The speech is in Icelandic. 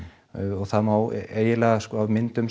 og það má eiginlega sko af myndum